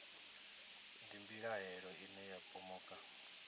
ndi mbilahelo ine ya pomoka